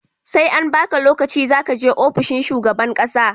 SE an baka lokaci zakaje ofishin shugaban ƙasa